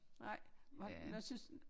Nej hvad synes